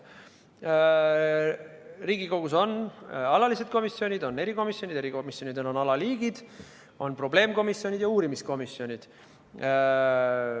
Riigikogus on alalised komisjonid ja erikomisjonid, erikomisjonidel on alaliigid: probleemkomisjonid ja uurimiskomisjonid.